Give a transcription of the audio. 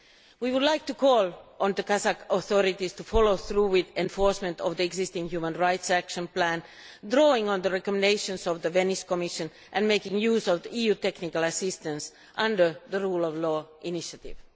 We would like to call on the Kazakh authorities to follow through with the enforcement of the existing human rights action plan, which draws on the recommendations of the Venice Commission, and to make use of EU technical assistance under the Rule of Law Initiative.